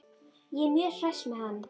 Ég er mjög hress með hann.